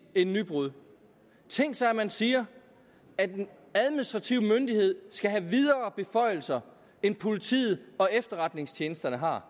et nybrud tænk sig at man siger at en administrativ myndighed skal have videre beføjelser end politiet og efterretningstjenesterne har